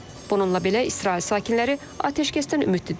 Bununla belə İsrail sakinləri atəşkəsdən ümidlidirlər.